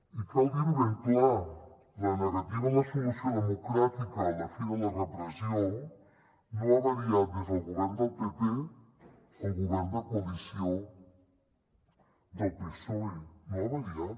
i cal dir ho ben clar la negativa a la solució democràtica a la fi de la repressió no ha variat des del govern del pp al govern de coalició del psoe no ha variat